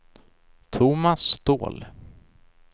Tomas Ståhl